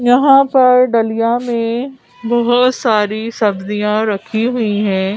यहां पर डलियां में बहोत सारी सब्जियां रखी हुईं हैं।